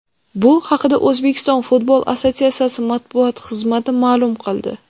Bu haqida O‘zbekiston futbol assotsiatsiyasi matbuot xizmati ma’lum qildi .